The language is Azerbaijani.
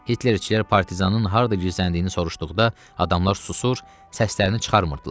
Hitlerçilər partizanın harda gizləndiyini soruşduqda, adamlar susur, səslərini çıxarmırdılar.